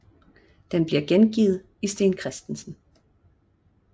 Den bliver gengivet i Steen Chr